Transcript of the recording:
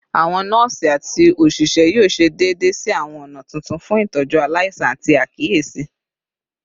Awọn nọọsi ati oṣiṣẹ yoo ṣe deede si awọn ọna tuntun fun itọju alaisan ati akiyesi